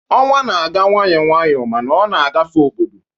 Ọnwa na-aga nwayọọ nwayọọ, ma ọ na-agafe obodo.